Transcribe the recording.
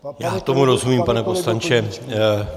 Já tomu rozumím, pane poslanče.